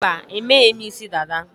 Mba, emeghị m isi dada